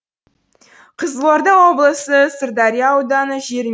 қызылорда облысы сырдария ауданы жері